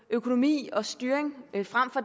økonomi og styring frem for